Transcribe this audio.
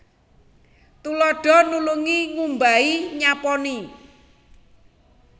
Tuladha nulungi ngumbahi nyaponi